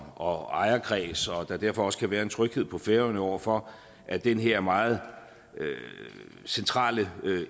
og ejerkreds og der derfor også kan være en tryghed på færøerne over for at den her meget centrale